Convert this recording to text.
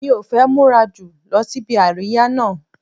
Mi ò fẹ́ múra jù lọ síbi àríyá náà